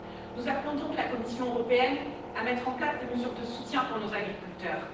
Nous appelons donc la Commission européenne à mettre en place des mesures de soutien pour nos agriculteurs.